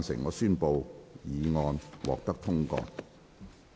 我宣布議案獲得通過。